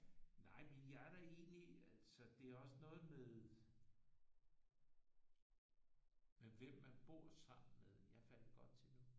Nej men jeg er da egentlig altså det er også noget med med hvem man bor sammen med. Jeg er faldet godt til nu